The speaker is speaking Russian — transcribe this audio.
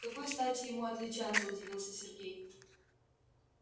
с какой стати ему отличаться удивился сергей